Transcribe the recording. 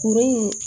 Kurun in